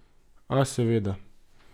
A, seveda.